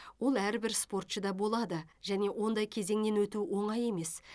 ол әрбір спортшыда болады және ондай кезеңнен өту оңай емес